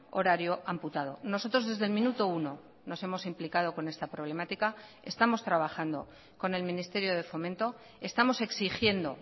horario amputado nosotros desde el minuto uno nos hemos implicado con esta problemática estamos trabajando con el ministerio de fomento estamos exigiendo